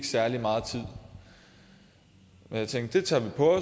særlig meget tid men jeg tænkte det tager vi på